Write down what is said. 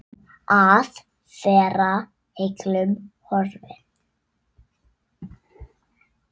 Að vera heillum horfin